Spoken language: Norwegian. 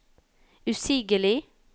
usigelig